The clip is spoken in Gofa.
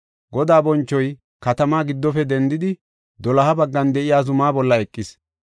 Godaa bonchoy katamaa giddofe dendidi, doloha baggan de7iya zumaa bolla eqis.